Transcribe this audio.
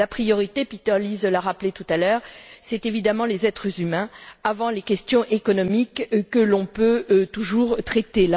La priorité Peter Liese l'a rappelé tout à l'heure ce sont évidemment les êtres humains, avant les questions économiques, que l'on peut toujours traiter.